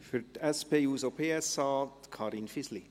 Für die SP-JUSO-PSA, Karin Fisli.